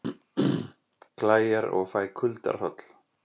Klæjar og fæ kuldahroll